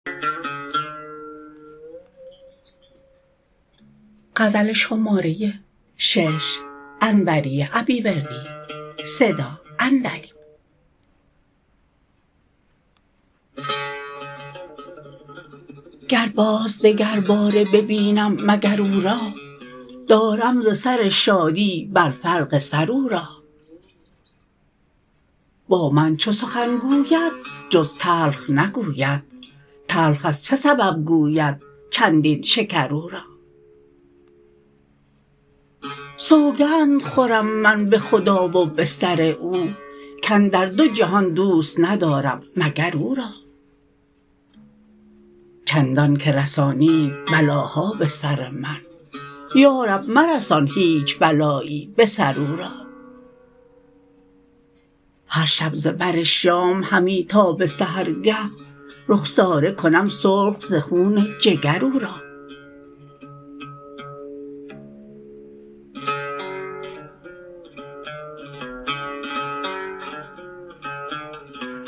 گر باز دگرباره ببینم مگر او را دارم ز سر شادی بر فرق سر او را با من چو سخن گوید جز تلخ نگوید تلخ از چه سبب گوید چندین شکر او را سوگند خورم من به خدا و به سر او کاندر دو جهان دوست ندارم مگر او را چندان که رسانید بلاها به سر من یا رب مرسان هیچ بلایی به سر او را هر شب ز بر شام همی تا به سحرگه رخساره کنم سرخ ز خون جگر او را